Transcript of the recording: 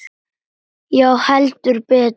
Já, heldur betur.